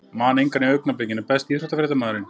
Man engan í augnablikinu Besti íþróttafréttamaðurinn?